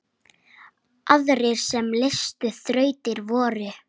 Aðrir sem leystu þrautir voru